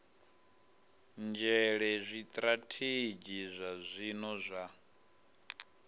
nzhele zwitirathedzhi zwa zwino zwa